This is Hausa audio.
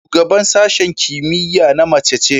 Shugaban sashen kimiyya na mace ce.